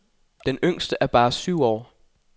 Den yngste er bare syv år.